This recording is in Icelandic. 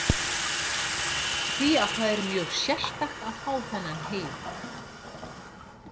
Því að þetta er mjög sérstakt að fá þennan heiður.